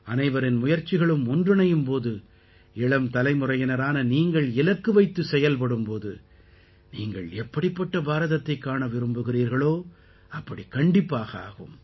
அனைவரின் முயற்சிகளும் ஒன்றிணையும் போது இளம் தலைமுறையினரான நீங்கள் இலக்கு வைத்துச் செயல்படும் போது நீங்கள் எப்படிப்பட்ட பாரதத்தைக் காண விரும்புகிறீர்களோ அப்படிக் கண்டிப்பாக ஆகும்